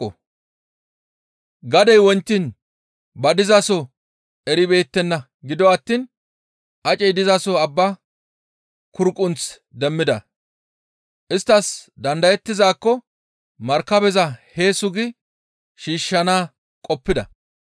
Gadey wontiin ba dizaso eribeettenna; gido attiin acey dizaso abba kurqunthu demmida; isttas dandayettizaakko markabeza hee sugi shiishshana qoppida.